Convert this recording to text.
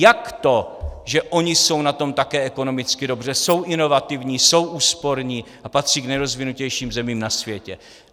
Jak to, že oni jsou na tom také ekonomicky dobře, jsou inovativní, jsou úsporní a patří k nejrozvinutějším zemím na světě?